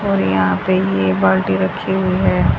और यहां पे ये बाल्टी रखी हुई है।